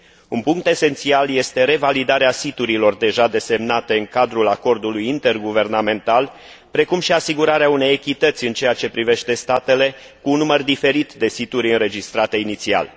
Un punct esențial este revalidarea siturilor deja desemnate în cadrul acordului interguvernamental, precum și asigurarea unei echități în ceea ce privește statele cu un număr diferit de situri înregistrate inițial.